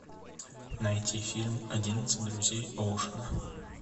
найти фильм одиннадцать друзей оушена